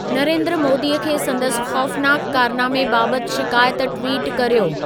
नरेंद्र मोदीअ खे संदसि ख़ौफ़नाकु कारनामे बाबति शिकायत ट्विटु कर्यो